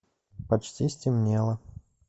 почти стемнело